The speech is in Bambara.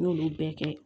N y'olu bɛɛ kɛ